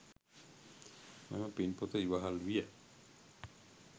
මෙම පින් පොත ඉවහල් විය.